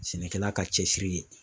Sɛnɛkɛla ka cɛsiri ye